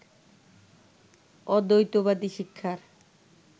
অদ্বৈতবাদী শিক্ষার